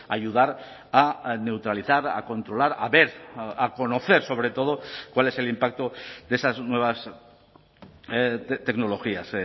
ayudar a neutralizar a controlar a ver a conocer sobre todo cuál es el impacto de esas nuevas tecnologías